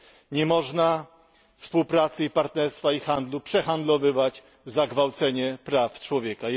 Nie można współpracy, partnerstwa i handlu przehandlowywać za gwałcenie praw człowieka.